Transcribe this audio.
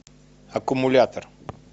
аккумулятор